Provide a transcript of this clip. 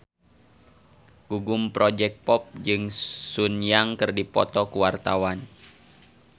Gugum Project Pop jeung Sun Yang keur dipoto ku wartawan